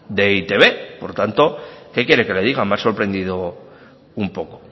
de e i te be por tanto qué quiere que le diga me ha sorprendido un poco